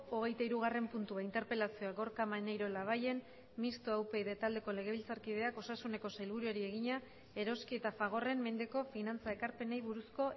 hogeitahirugarren puntua interpelazioa gorka maneiro labayen mistoa upyd taldeko legebiltzarkideak osasuneko sailburuari egina eroski eta fagorren mendeko finantza ekarpenei buruzko